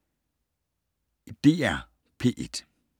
DR P1